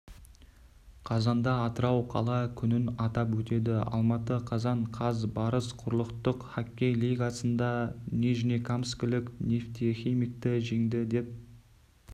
қазанда атырау қала күнін атап өтеді алматы қазан қаз барыс құрлықтық хоккей лигасынданижнекамскілік нефтехимикті жеңді деп